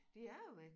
De er jo væk